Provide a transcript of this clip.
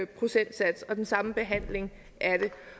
procentsats og den samme behandling af